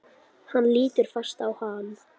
Hann lítur fast á hana.